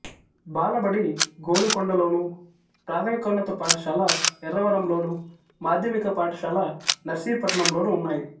బాలబడి గోలుగొండలోను ప్రాథమికోన్నత పాఠశాల ఎర్రవరంలోను మాధ్యమిక పాఠశాల నర్సీపట్నంలోనూ ఉన్నాయి